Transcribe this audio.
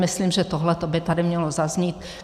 Myslím, že tohle by tady mělo zaznít.